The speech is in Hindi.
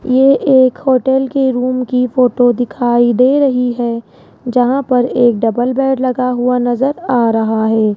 ये एक होटल के रूम की फोटो दिखाई दे रही है जहां पर एक डबल बेड लगा हुआ नजर आ रहा है।